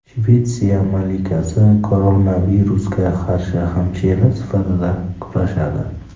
Shvetsiya malikasi koronavirusga qarshi hamshira sifatida kurashadi.